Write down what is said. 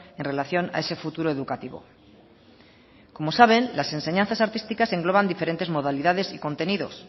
en relación a ese futuro educativo como saben las enseñanzas artísticas engloban diferentes modalidades y contenidos